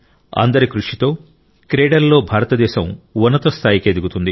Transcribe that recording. అందరి కృషితో క్రీడలలో భారతదేశం ఉన్నత స్థాయికి ఎదుగుతుంది